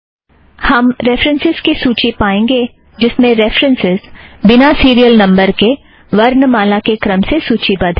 हम रेफ़रन्सस् की सूची पाएंगे जिसमें रेफ़रन्सस् बिना सीरियल नंबर के वर्णमाला के क्रम से सूची बद्ध है